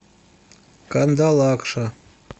кандалакша